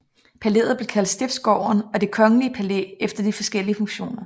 Palæet blev kaldt Stiftsgården og Det kongelige palæ efter de forskelige funktioner